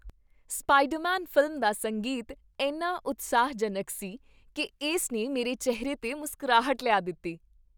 Spider-Man film ਦਾ ਸੰਗੀਤ ਇੰਨਾ ਉਤਸ਼ਾਹਜਨਕ ਸੀ ਕੀ ਇਸ ਨੇ ਮੇਰੇ ਚਿਹਰੇ 'ਤੇ ਮੁਸਕਰਾਹਟ ਲਿਆ ਦਿੱਤੀ..